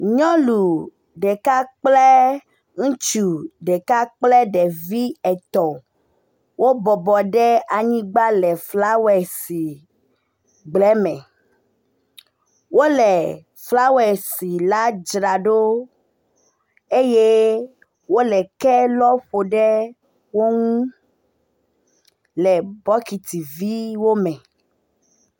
Nyɔnu ɖeka kple ŋutsu ɖeka kple ɖevi etɔ̃ wo bɔbɔ ɖe anyigba le flawesi gbleme. Wo le flawesi la dzra ɖo eye wo le ke lɔ ƒo ɖe wo ŋu le bɔkitiviwo me.